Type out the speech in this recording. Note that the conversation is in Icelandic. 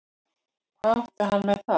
Hvað átti hann með það?